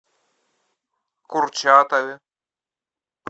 курчатове